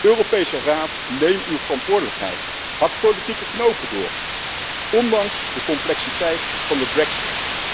Europese Raad, neem uw verantwoordelijkheid, hak politieke knopen door, ondanks de complexiteit van de brexit.